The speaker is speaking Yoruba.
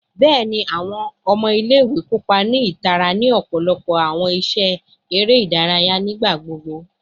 Bẹẹni, awọn ọmọ ile-iwe kopa ni itara ni ọpọlọpọ awọn iṣe ere idaraya nigbagbogbo